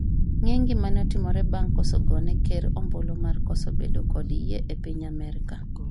ng'e gimane otimore bang' kosegone ker ombulu mar koso bedo kod yie e piny Amerka?